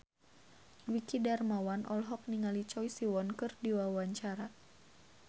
Dwiki Darmawan olohok ningali Choi Siwon keur diwawancara